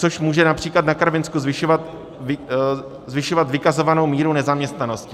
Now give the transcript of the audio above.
Což může například na Karvinsku zvyšovat vykazovanou míru nezaměstnanosti.